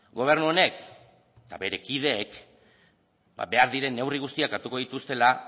gobernu honek eta bere kideek behar diren neurri guztiak hartuko dituztela